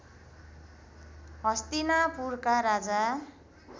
हस्तिनापुरका राजा